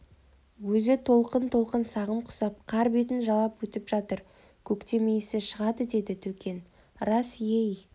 өзі толқын-толқын сағым құсап қар бетін жалап өтіп жатыр көктем иісі шығады деді төкен рас ей